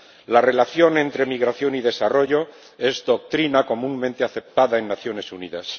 La relación entre migración y desarrollo es doctrina comúnmente aceptada en las Naciones Unidas.